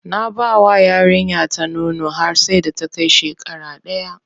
Na bawa yarinya ta nono har sai da ta kai shekara daya.